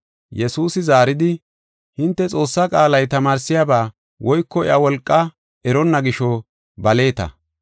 Yesuusi zaaridi, “Hinte Xoossaa qaalay tamaarsiyaba woyko iya wolqaa eronna gisho baleeta.